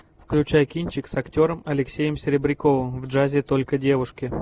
включай кинчик с актером алексеем серебряковым в джазе только девушки